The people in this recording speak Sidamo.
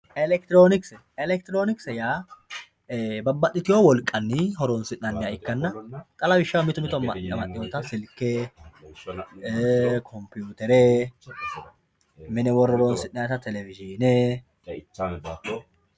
Elekitironikise, elekitironikise yaa babaxitiwo woliqanni horonsinaniha ikkanna xa lawishaho mito mitowa amaxiwotta silike compiwutere mine wore horonsinanitta televishine